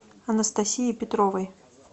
анастасии петровой